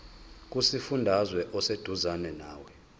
kusifundazwe oseduzane nawe